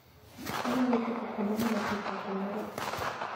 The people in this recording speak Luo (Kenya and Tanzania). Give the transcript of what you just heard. Onyalo chopo kuonde ma masiche otimoree.